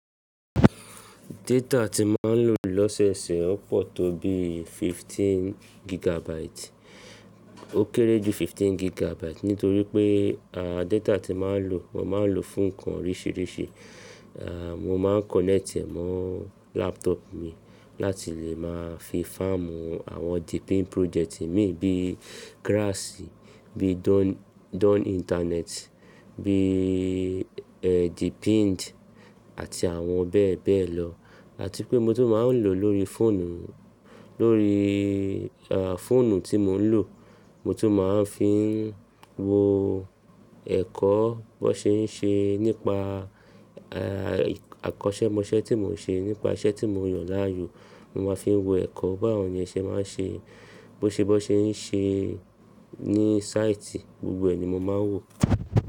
Data tí màá ń lò lọ́sẹ̀ẹsẹ̀ o pọ̀ tó bí 15 gigabyte. Ó kéré jù 15 gigabyte nítorí pé, à, data tí màá ń lò, mo máa ń lò fún ǹkan oríṣìíríṣìí. À, mo máa ń connect è mọ́ laptop mi láti lè máa fi fáàmù àwọn The Pin project mi bíi grass, bíi Don internet, bíi, ẹ, The Pint àti àwọn bẹ́ẹ̀ bẹ́ẹ̀ lọ. Àti pé mo tó máa ń lò lórí fóònù, lórí, à, fóònù tí mò ń lò. Mo tó máa ń fi ń wo ẹ̀kọ́ bó ṣe ń ṣe nípa, à, àkọ́ṣẹ́ mọṣẹ́ tí mò ń ṣe, nípa iṣẹ́ tí mò ń yàn láàyò. Mo máa ń fi ń wo ẹ̀kọ́ báwo ni ẹ ṣe máa ń ṣe, bó ṣe bó ṣe ń ṣe ní site, gbogbo ẹ ni mo máa ń wò.